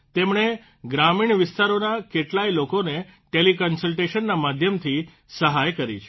તમણે ગ્રામીણ વિસ્તારોના કેટલાય લોકોને ટેલીકન્સલટેશનના માધ્યમથી સહાય કરી છે